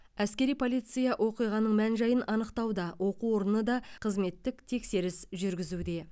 әскери полиция оқиғаның мән жайын анықтауда оқу орны да қызметтік тексеріс жүргізуде